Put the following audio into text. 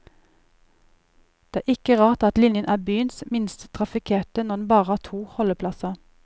Det er ikke rart at linjen er byens minst trafikkerte når den bare har to holdeplasser.